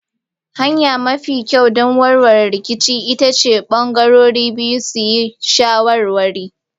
Hanya mafi kyau don warware rikici ita ce bangarorin biyu su yi shawarwari.